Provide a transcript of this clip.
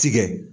Tigɛ